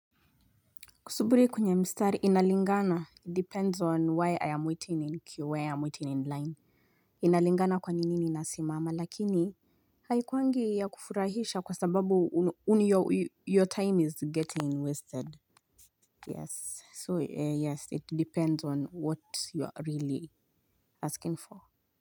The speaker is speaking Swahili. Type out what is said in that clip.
Kusubirikwe nye mstari inalingana, it depends on why I am waiting in queue, why I am waiting in line. Inalingana kwa nini ninasimama lakini. Haikuwangi ya kufurahisha kwa sababu your time is getting wasted. Yes, so yes, it depends on what you are really asking for.